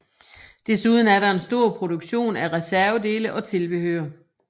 Desuden er der en stor produktion af reservedele og tilbehør